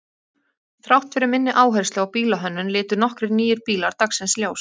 Þrátt fyrir minni áherslu á bílahönnun litu nokkrir nýir bílar dagsins ljós.